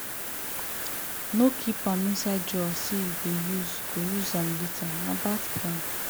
no keep am inside drawer say you go use go use am later na bad plan.